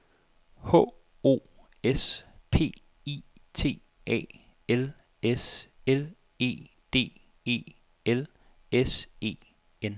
H O S P I T A L S L E D E L S E N